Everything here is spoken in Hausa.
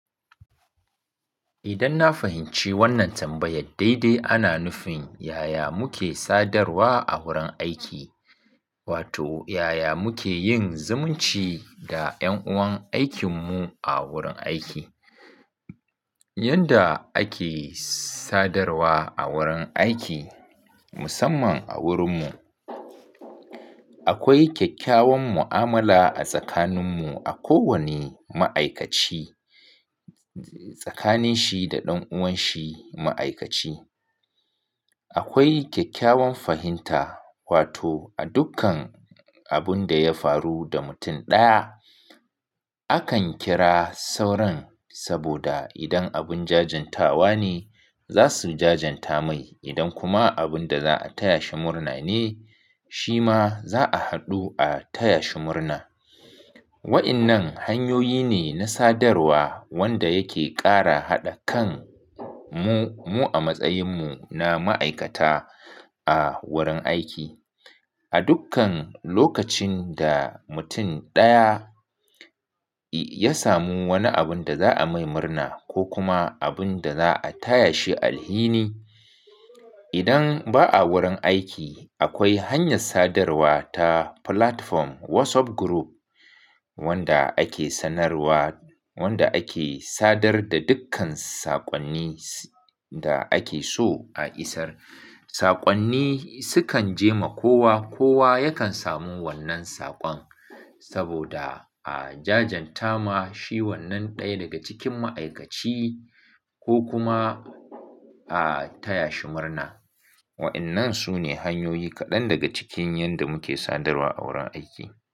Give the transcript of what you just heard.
Idan na fahimci wannan tambayar, daidai ana nufin yaya muke sadarwa a wurin aiki, wato yaya muke yin zumunci da ƴan uwan aikinmu a wurin aiki. Yanda ake sadarwa a wurin aiki, musamman a wurinmu, akwai kyakkyawan mu'amala a tsakaninmu a kowane ma'aikaci, tsakanin shi da ɗan'uwan shi ma'aikaci. Akwai kyakkyawan fahimta, wato a dukkan abun da ya faru da mutum ɗaya, akan kira sauran saboda idan abun jajantawa ne, za su jajanta mai. Idan kuma abun da za a taya shi murna ne, shi ma za a haɗu a taya shi murna. Wainnan hanyoyi ne na sadarwa wanda yake ƙara haɗa kan mu, mu a matsayinmu na ma'aikata a wurin aiki. A dukkan lokacin da mutum ɗaya ya samu wani abun da za'a mai murna ko kuma abun da za'a taya shi alhini, idan ba a wurin aiki, akwai hanyar sadarwa ta platform Wassop gurup wanda ake sanarwa, wanda ake sadar da dukkan saƙonni da ake so a isar. Saƙonni sukan je ma kowa, kowa yakan samu wannan saƙon saboda a jajanta ma shi wannan ɗaya daga cikin ma'aikaci ko kuma a taya shi murna. Waɗannan su ne hanyoyi kaɗan daga cikin yanda muke sadarwa a wurin aiki.